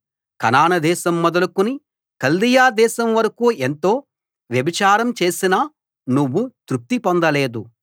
కనాను దేశం మొదలుకుని కల్దీయ దేశం వరకూ ఎంతో వ్యభిచారం చేసినా నువ్వు తృప్తి పొందలేదు